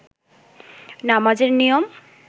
নামাজের নিয়ম